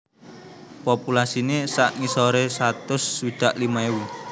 Populasiné sak ngisoré satus swidak limo ewu